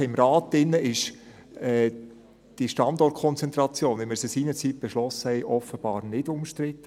Ich denke, im Rat ist die Standortkonzentration, wie wir sie seinerzeit beschlossen haben, offenbar nicht umstritten.